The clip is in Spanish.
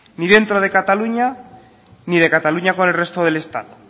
ni dentro de cataluña ni de cataluña con el resto del estado